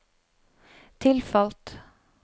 tilfalt